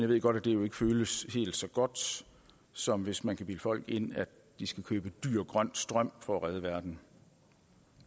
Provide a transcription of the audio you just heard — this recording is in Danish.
ved godt at det jo ikke føles helt så godt som hvis man kan bilde folk ind at de skal købe dyr grøn strøm for at redde verden